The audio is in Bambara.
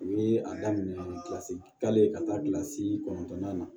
U ye a daminɛ kilasi kelen ka taa kilasi kɔnɔntɔnnan na